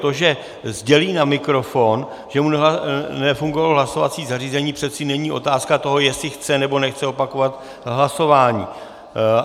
To, že sdělí na mikrofon, že mu nefungovalo hlasovací zařízení, přeci není otázka toho, jestli chce, nebo nechce opakovat hlasování.